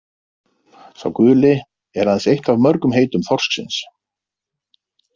„Sá guli“ er aðeins eitt af mörgum heitum þorsksins.